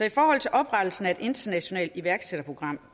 i forhold til oprettelsen af et internationalt iværksætterprogram